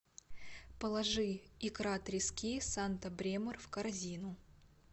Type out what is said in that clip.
положи икра трески санта бремор в корзину